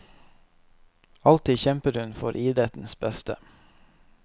Alltid kjempet hun for idrettens beste.